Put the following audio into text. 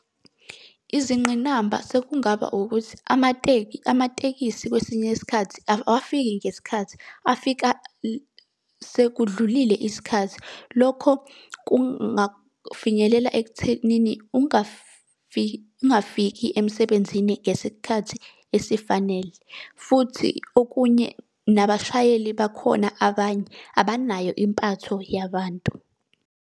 Izingqinamba sekungaba ukuthi amateki, amatekisi kwesinye isikhathi awafiki ngesikhathi, afika sekudlulile isikhathi. Lokho kungafinyelela ekuthenini ungafiki emsebenzini ngesikhathi esifanele. Futhi okunye nabashayeli bakhona abanye abanayo impatho yabantu.